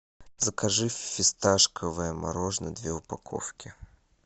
закажи фисташковое мороженое две упаковки